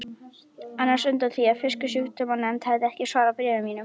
annars undan því að Fisksjúkdómanefnd hefði ekki svarað bréfum mínum.